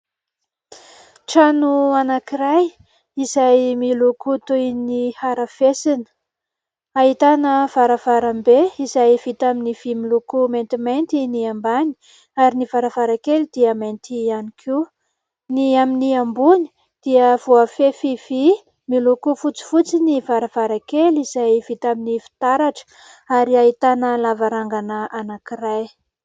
Trano anankiray izay miloko toy ny harafesina ahitana varavarambe izay vita amin'ny vy miloko maintimainty ny ambany ary ny varavarakely dia mainty ihany koa. Ny amin'ny ambony dia voafefy vy miloko fotsifotsy ny varavarakely izay vita amin'ny fitaratra, ary ahitana lavarangana anankiray.